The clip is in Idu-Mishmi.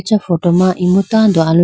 acha photo ma imu tando aluchi.